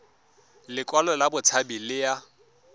lekwalo la botshabi le ya